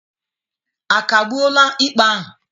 A kagbuola ikpe ahụ?